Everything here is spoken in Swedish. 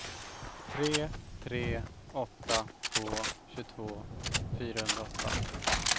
tre tre åtta två tjugotvå fyrahundraåtta